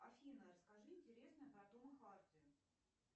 афина расскажи интересное про тома харди